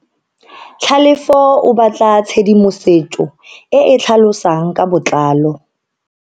Tlhalefo o batla tshedimosetso e e tlhalosang ka botlalo.